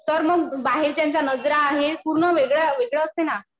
तर मग बाहेरच्यांच्या नजरा हे पूर्ण वेगळं असतंय ना.